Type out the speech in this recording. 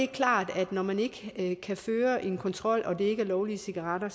klart at når man ikke kan føre en kontrol og det ikke er lovlige cigaretter